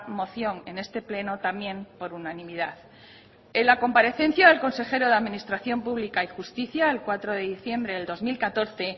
moción en este pleno también por unanimidad en la comparecencia del consejero de administración pública y justicia el cuatro de diciembre de dos mil catorce